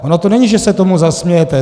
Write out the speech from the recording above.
Ono to není, že se tomu zasmějete!